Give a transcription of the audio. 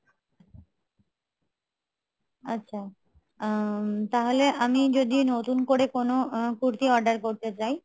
আচ্ছা আ~ তাহলে আমি যদি নতুন করে কোনো কুর্তি order করতে চাই